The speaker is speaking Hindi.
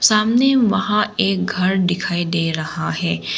सामने वहाँ एक घर दिखाई दे रहा है।